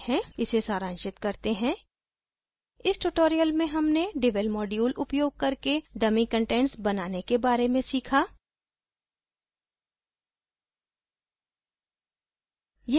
इसे सारांशित करते हैं इस tutorial में हमने devel module उपयोग करके dummy कंटेंट्स बनाने के बारे में सीखा